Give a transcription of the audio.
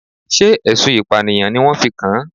Sé ẹ̀sùn ìpànìyàn ni wọ́n fi kan?